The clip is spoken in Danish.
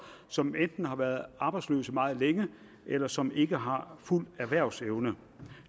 som enten har været arbejdsløse meget længe eller som ikke har fuld erhvervsevne